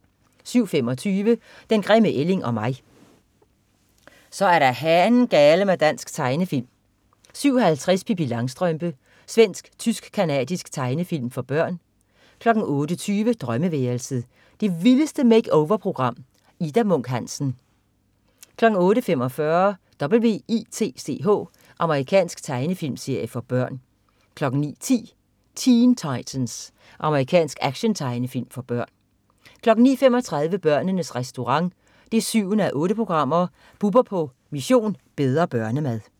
07.25 Den grimme ælling og mig. Så er der hanen-gale-mig dansk tegnefilm 07.50 Pippi Langstrømpe. Svensk/tysk/canadisk tegnefilmserie for børn 08.20 Drømmeværelset. Det vildeste make-over-program. Ida Munk Hansen 08.45 W.i.t.c.h. Amerikansk tegnefilmserie for børn 09.10 Teen Titans. Amerikansk actiontegnefilm for børn 09.35 Børnenes Restaurant 7:8. Bubber på "Mission: Bedre børnemad"